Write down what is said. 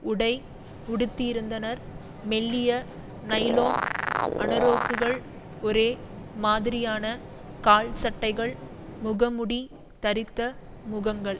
உடை உடுத்தியிருந்தனர் மெல்லிய நைலோன் அனோரக்குகள் ஒரே மாதிரியான கால்சட்டைகள் முகமூடி தரித்த முகங்கள்